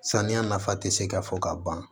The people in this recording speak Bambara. Saniya nafa te se ka fɔ ka ban